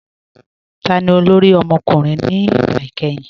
Táni olórí ọmọkùnrin ni ìgbà ikẹ̀hìn?